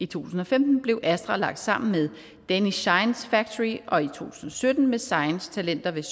tusind og femten blev astra lagt sammen med danish science factory og i to tusind og sytten med science talenter ved